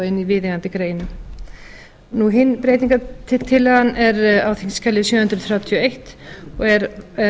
inn í viðeigandi grein hin breytingartillagan er á þingskjali sjö hundruð þrjátíu og eins og er